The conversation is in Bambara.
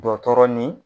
Dɔ tɔɔrɔ ni